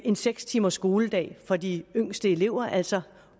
en seks timers skoledag for de yngste elever altså